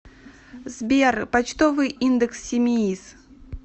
сбер почтовый индекс симеиз